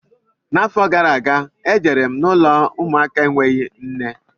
Arọ gara aga, e jere m ụlọ ụmụaka enweghị nne.